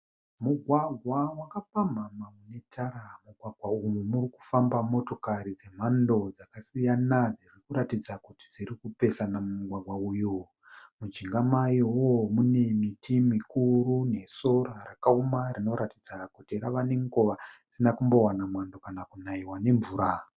Mugwagwa wakapamhama unetara, mumugwagwa umu murikufamba motokari dzemhando dzakasiyana dzirikuratidza kuti dzirikupesana mumugwagwa uyu, mujinga mayowo mune miti mikuru nesora rakaoma rinoratidza kuti rava nenguva risina kumbowana mwando kana kunayiwa nemvura.